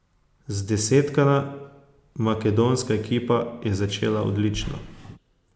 Zdesetkana makedonska ekipa je začela odlično.